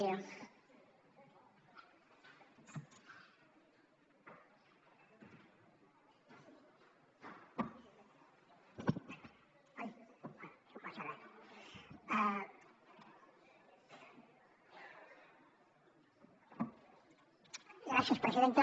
gràcies presidenta